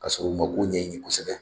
Ka sɔrɔ u ma kow ɲɛɲini kosɛbɛ.